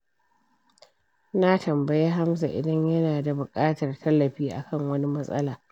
Na tambayi Hamza idan yana da buƙatar tallafi akan wani matsala.